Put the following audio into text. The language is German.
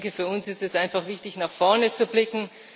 Ich denke, für uns ist es einfach wichtig, nach vorne zu blicken.